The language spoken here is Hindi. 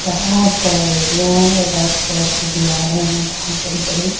बोहोत बड़ा एरिया है रेड कलर की दीवारे है बोहोत बडी बड़ी --